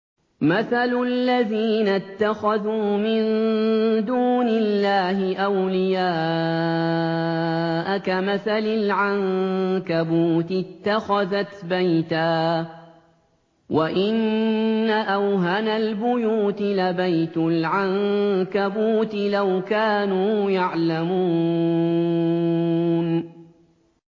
مَثَلُ الَّذِينَ اتَّخَذُوا مِن دُونِ اللَّهِ أَوْلِيَاءَ كَمَثَلِ الْعَنكَبُوتِ اتَّخَذَتْ بَيْتًا ۖ وَإِنَّ أَوْهَنَ الْبُيُوتِ لَبَيْتُ الْعَنكَبُوتِ ۖ لَوْ كَانُوا يَعْلَمُونَ